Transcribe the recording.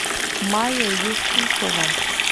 майя юсуфова